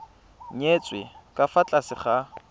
nyetswe ka fa tlase ga